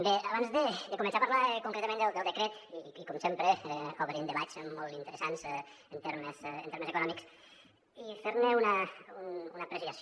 bé abans de començar a parlar concretament del decret i com sempre obrim debats molt interessants en termes econòmics i fer ne una apreciació